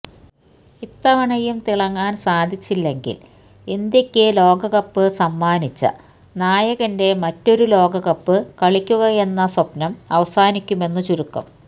ഇത്തവണയും തിളങ്ങാന് സാധിച്ചില്ലെങ്കില് ഇന്ത്യക്ക് ലോകകപ്പ് സമ്മാനിച്ച നായകന്റെ മറ്റൊരു ലോകകപ്പ് കളിക്കുകയെന്ന സ്വപ്നം അവസാനിക്കുമെന്ന് ചുരുക്കം